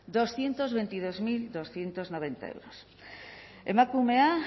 doscientos veintidós mil doscientos noventa euros emakumea